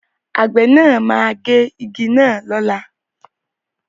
Àwọn àgbẹ̀ náà máa gé igi náà lọ́la.